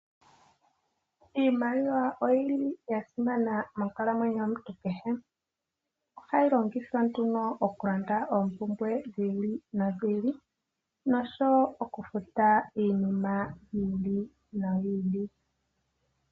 Iimaliwa oyi li ya simana monkalamwenyo yomuntu kehe ,ohayi longithwa oku landa oompumbwe dhi ili nodhi ili nosho woo oku futa iinima yi ili noyi ili.